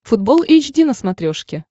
футбол эйч ди на смотрешке